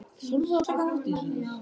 Strákarnir nálguðust Emil hægum skrefum.